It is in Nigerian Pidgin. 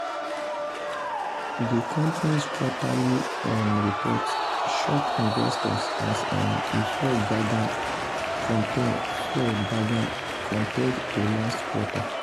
the company quarterly um report shock investors as um e fall gbagam compared fall gbagam compared to last quarter.